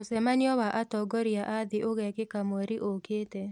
Mũcemanio wa atongoria a thĩ ũgekĩka mweri ũkĩte